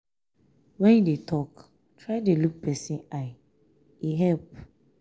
when you dey talk try dey look person eye e help.